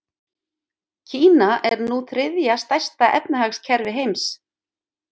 Kína er nú þriðja stærsta efnahagskerfi heims.